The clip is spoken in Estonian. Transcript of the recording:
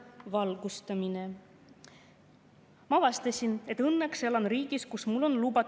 Vaatamata sellele, justkui selle seaduse vastuvõtmisele oleks eelnenud põhjalik töö, on näha, et seda ei olnud ning seaduseelnõu sai kokku pandud kiirkorras.